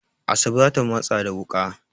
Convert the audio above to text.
Asabe za ta matsa da wuƙa.